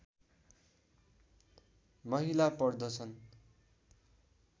महिला पर्दछन्